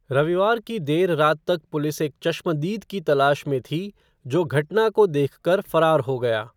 रविवार की देर रात तक पुलिस एक चश्मदीद की तलाश में थी, जो घटना को देखकर फरार हो गया।